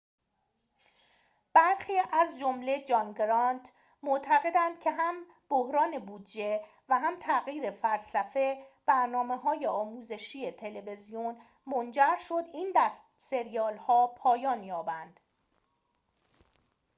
برخی از جمله جان گرانت معتقدند که هم بحران بودجه و هم تغییر فلسفه برنامه‌های آموزشی تلویزیون منجر شد این دست سریال‌ها پایان یابند